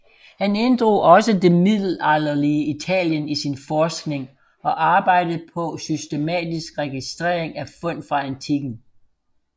Han inddrog også det middelalderlige Italien i sin forskning og arbejdede på systematisk registrering af fund fra antikken